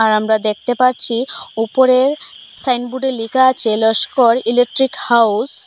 আর আমরা দ্যাখতে পারছি উপরের সাইনবুর্ডে লিখা আছে লস্কর ইলেকট্রিক হাউস